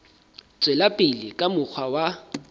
tswela pele ka mokgwa wa